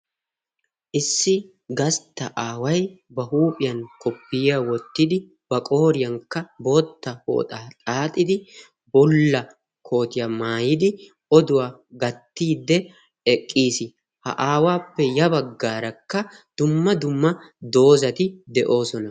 issi gastta aaway ba huuphiyan koppiyiya wottidi ba qooriyankka bootta pooxaa xaaxidi bolla kootiyaa maayidi oduwaa gattiidde eqqiis ha aawaappe ya baggaarakka dumma dumma doozati de7oosona